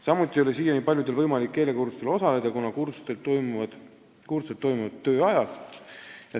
Samuti ei ole siiani paljudel olnud võimalik keelekursustel osaleda, kuna need toimuvad töö ajal.